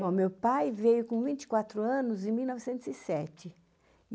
Bom, meu pai veio com vinte e quatro anos em mil novecentos e sete.